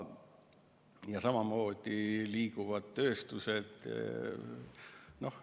Ja samamoodi liiguvad tööstused.